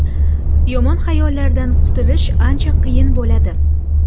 Yomon xayollardan qutulish ancha qiyin bo‘ladi.